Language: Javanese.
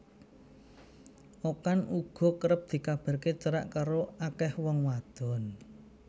Okan uga kerep dikabaraké cerak karo akéh wong wadon